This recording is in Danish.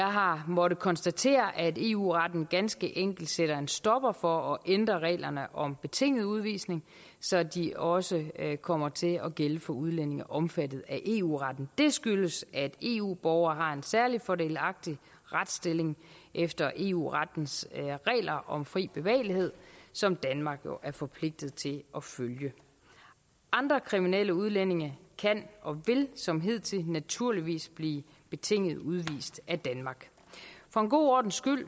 har måttet konstatere at eu retten ganske enkelt sætter en stopper for at ændre reglerne om betinget udvisning så de også kommer til at gælde for udlændinge omfattet af eu retten det skyldes at eu borgere har en særlig fordelagtig retsstilling efter eu rettens regler om fri bevægelighed som danmark jo er forpligtet til at følge andre kriminelle udlændinge kan og vil som hidtil naturligvis blive betinget udvist af danmark for en god ordens skyld vil